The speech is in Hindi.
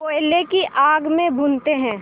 कोयले की आग में भूनते हैं